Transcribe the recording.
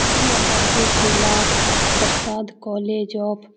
यह Babu Kailash Prasad college of --